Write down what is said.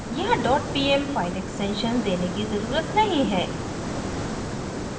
यहाँ dot pm file extension देने की ज़रुरत नहीं है